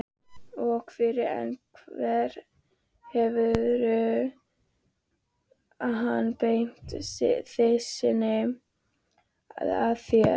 Og fyrr en varir hefur hann beint byssunni að mér.